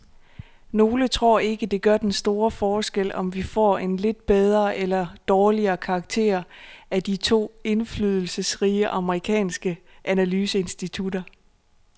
Nogle tror ikke, det gør den store forskel, om vi får en lidt bedre eller dårligere karakter af de to indflydelsesrige amerikanske analyseinstitutter.